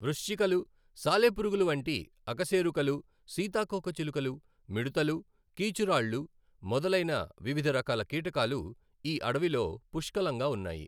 వృశ్చికలు, సాలెపురుగులు వంటి అకశేరుకలు, సీతాకోకచిలుకలు, మిడుతలు, కీచురాళ్ళు మొదలైన వివిధ రకాల కీటకాలు ఈ అడవిలో పుష్కలంగా ఉన్నాయి.